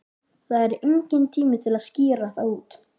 Það er enginn tími til að skýra það út.